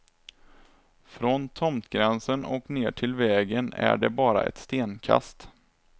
Från tomtgränsen och ner till vägen är det bara ett stenkast.